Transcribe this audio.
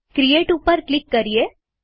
create ઉપર click કરીએ